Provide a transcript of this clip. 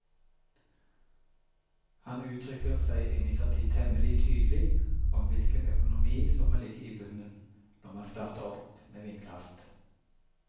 Han uttrykker seg imidlertid temmelig tydelig om hvilken økonomi som må ligge i bunnen når man starter opp med vindkraft.